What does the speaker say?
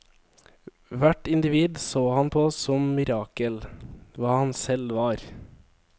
Hvert individ så han på som mirakel, hva han selv var.